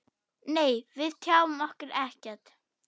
Nei, við tjáum okkur ekkert.